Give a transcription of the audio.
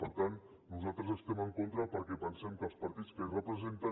per tant nosaltres hi estem en contra perquè pensem que els partits que representen